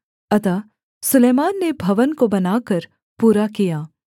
अतः सुलैमान ने भवन को बनाकर पूरा किया